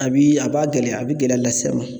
A bi a b'a gɛlɛya a bi gɛlɛya las'a ma.